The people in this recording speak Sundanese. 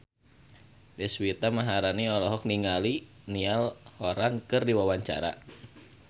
Deswita Maharani olohok ningali Niall Horran keur diwawancara